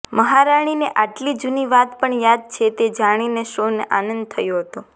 મહારાણીને આટલી જુની વાત પણ યાદ છે તે જાણીને સૌને આનંદ થયો હતો